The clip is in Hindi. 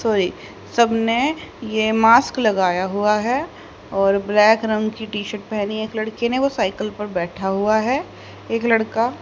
सारी सब ने यह मास्क लगाया हुआ है और ब्लैक रंग की टी शर्ट पहनी है एक लड़की ने वो साइकिल पर बैठा हुआ है एक लड़का।